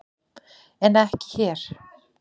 En ekki hér.